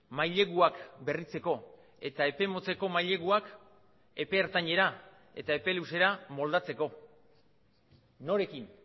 maileguak berritzeko eta epe motzeko maileguak epe ertainera eta epe luzera moldatzeko norekin